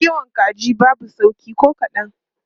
Kiwon kaji babu sauƙi ko kadan.